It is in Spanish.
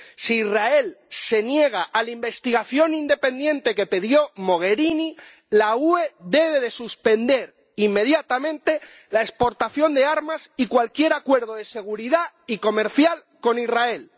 Si Israel se niega a la investigación independiente que pidió Mogherini, la Unión Europea debe suspender inmediatamente la exportación de armas y cualquier acuerdo de seguridad y comercial con Israel.